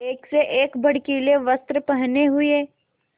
एक से एक भड़कीले वस्त्र पहने हुए